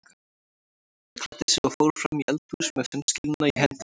Hann klæddi sig og fór fram í eldhús með sundskýluna í hendinni.